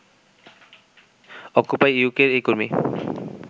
occupy ইউকের এই কর্মী